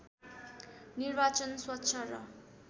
निर्वाचन स्वच्छ र